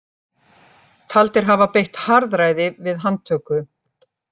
Taldir hafa beitt harðræði við handtöku